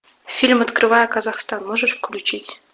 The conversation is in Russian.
фильм открывая казахстан можешь включить